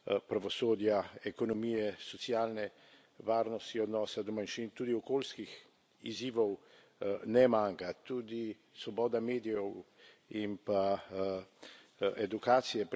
pravosodja, ekonomije, socialne varnosti, odnosa do manjšin, tudi okoljskih izzivov ne manjka, tudi svoboda medijev in pa edukacije.